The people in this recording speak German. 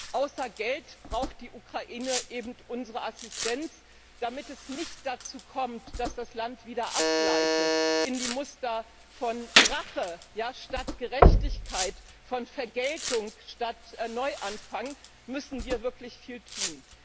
Und außer Geld braucht die Ukraine eben unsere Assistenz, damit es nicht dazu kommt, dass das Land wieder abgleitet in die Muster von Rache statt Gerechtigkeit, von Vergeltung statt Neuanfang. Da müssen wir wirklich viel tun.